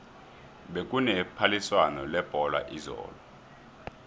bekune phaliswano lebholo izolo